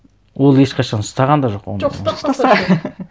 ол ешқашан ұстаған да жоқ ұстаса